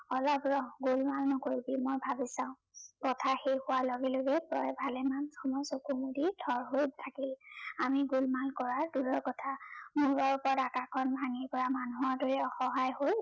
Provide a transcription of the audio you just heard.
অলপ ৰহ গোলমাল নকৰিবি। মই ভাবি চাও, কথা শেষ হোৱাৰ লগে লগে জয়ে ভালেমান সময় চকু মুদি থৰ হৈ থাকিল। আমি গোলমাল কৰা দূৰৰে কথা, মূৰৰ ওপৰত আকাশখন ভাঙি পৰা মানুহৰ দৰে অসহায় হৈ